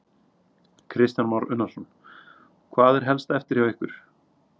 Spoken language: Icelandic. Kristján Már Unnarsson: Hvað er helst eftir hjá ykkur?